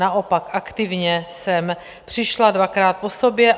Naopak, aktivně jsem přišla dvakrát po sobě.